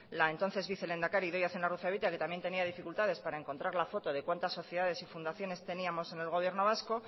la entonces vicelehendakari idoia zenarruzabetia que también tenía dificultades para encontrar la foto de cuántas sociedades y funciones teníamos en el gobierno vasco